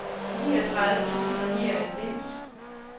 niogtredive tusind og nioghalvfems